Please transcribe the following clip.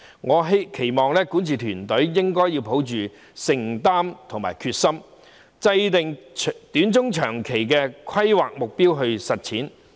我期望管治團隊應抱有承擔和決心，制訂短、中，長期的規劃目標來實踐這些願景。